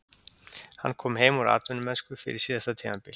Hann kom heim úr atvinnumennsku fyrir síðasta tímabil.